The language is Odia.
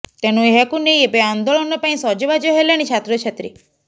ତେଣୁ ଏହାକୁ ନେଇ ଏବେ ଆନ୍ଦୋଳନ ପାଇଁ ସଜବାଜ ହେଲେଣି ଛାତ୍ରଛାତ୍ରୀ